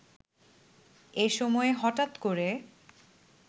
এসময় হঠাৎ করে